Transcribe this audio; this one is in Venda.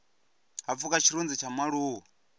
ha pfuka tshirunzi tsha mualuwa